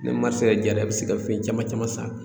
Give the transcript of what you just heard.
Ni diyara i bɛ se ka fɛn caman caman san